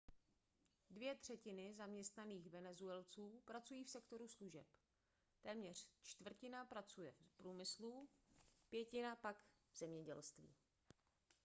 dvě třetiny zaměstnaných venezuelců pracují v sektoru služeb téměř čtvrtina pracuje v průmyslu pětina pak v zemědělství